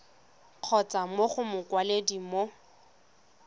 kgotsa mo go mokwaledi mo